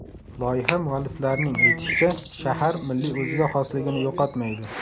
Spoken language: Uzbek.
Loyiha mualliflarining aytishicha, shahar milliy o‘ziga xosligini yo‘qotmaydi.